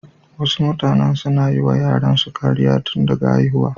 Wasu mutanen suna yiwa yaransu kariya tun daga haihuwa.